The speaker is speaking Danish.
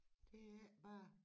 Det ikke bare